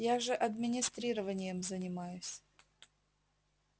я же администрированием занимаюсь